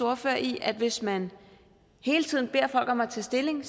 ordfører i at hvis man hele tiden beder folk om at tage stilling